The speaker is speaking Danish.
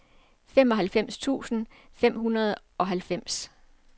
femoghalvfems tusind fem hundrede og halvfems